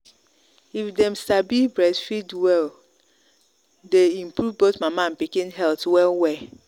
if them sabi breastfeed welle day improve both mama and pikin health well well.